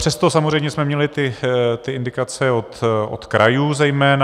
Přesto samozřejmě jsme měli ty indikace od krajů zejména.